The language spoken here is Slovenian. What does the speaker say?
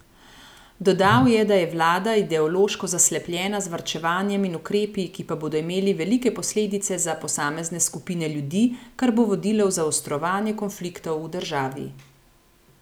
Dodal je, da je vlada ideološko zaslepljena z varčevanjem in ukrepi, ki pa bodo imeli velike posledice za posamezne skupine ljudi, kar bo vodilo v zaostrovanje konfliktov v državi.